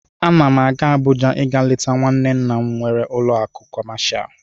Ana m aga Abuja ịga leta nwanne nna m nwere ụlọ akụ kọmashal.